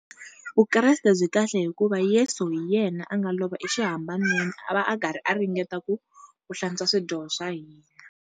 Vukreste byi kahle hikuva Yesu hi yena a nga lova exihambanweni a va a karhi a ringeta ku ku hlantswa swidyoho swa hina.